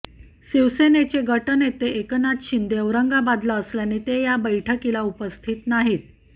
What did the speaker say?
शिवसेनेचे गटनेते एकनाथ शिंदे औरंगाबादला असल्याने ते या बैठकीला उपस्थित नाहीत